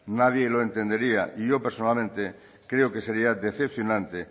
nadie lo entendería y yo personalmente creo que sería decepcionante